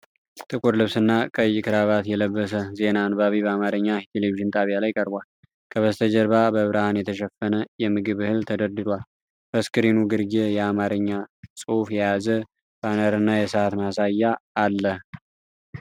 ጥቁር ልብስና ቀይ ክራቫት የለበሰ ዜና አንባቢ በአማርኛ የቴሌቪዥን ጣቢያ ላይ ቀርቧል። ከበስተጀርባ በብርሃን የተሸፈነ የምግብ እህል ተደርድሯል። በስክሪኑ ግርጌ የአማርኛ ጽሑፍ የያዘ ባነርና የሰዓት ማሳያ አለ።